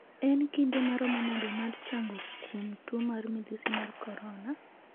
En kinde maromo nade mar chango kuom tuo mar midhusi msg korona?